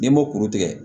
N'i m'o kuru tigɛ